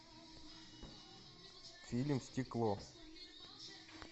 фильм стекло